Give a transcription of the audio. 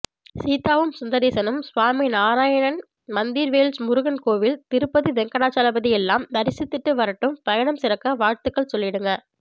சீதாவும் சுந்தரேசனும் ஸ்வாமிநாராயன் மந்திர் வேல்ஸ் முருகன் கோவில் திருப்பதி வெங்கடாஜலபதியெல்லாம் தரிசிச்சிட்டு வரட்டும் பயணம் சிறக்க வாழ்த்துக்கள் சொல்லிடுங்க